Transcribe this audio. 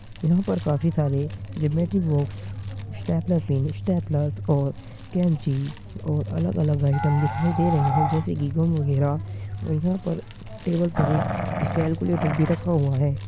यहाँ पर काफ़ी सारे geometry box stapler pins stapler और कैंची और अलग-अलग आइटम दिखायी दे रहे है जैसे कि गन वगैरा और यहाँ पर टेबल पर एक एक कैलकुलेटर भी रखा हुआ है।